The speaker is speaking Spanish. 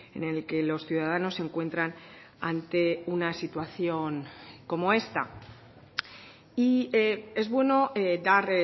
en el que los ciudadanos se encuentran ante una situación como esta y es bueno dar